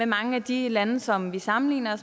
mange af de lande som vi sammenligner